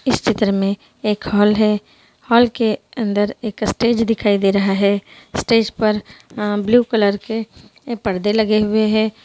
इस चित्र मे एक हॉल है हॉल के अंदर स्टेज दिखाई दे रहा है स्टेज पर अ ब्लू कलर के पर्देलगे हुए है।